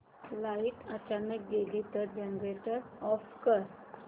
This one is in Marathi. लाइट अचानक गेली तर जनरेटर ऑफ कर